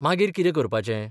मागीर कितें करपाचें?